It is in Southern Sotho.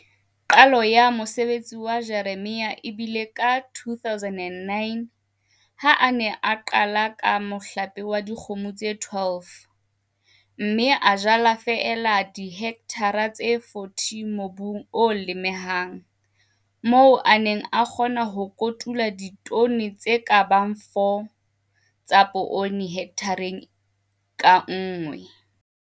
Qalo ya mosebetsi wa temo wa Jeremia e bile ka 2009 ha a ne a qala ka mohlape wa dikgomo tse 12. Mme a jala feela dihekthara tse 40 mobung o lemehang, moo a neng a kgona ho kotula ditone tse ka bang 4 tsa poone hekthareng ka nngwe.